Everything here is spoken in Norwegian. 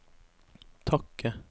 takke